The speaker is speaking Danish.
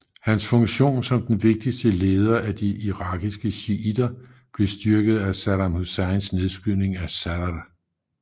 Hans funktion som den vigtigste leder af de irakiske shiitter blev styrket efter Saddam Husseins nedskydning af Sadr